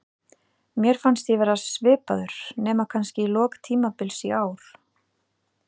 Mér fannst ég vera svipaður, nema kannski í lok tímabils í ár.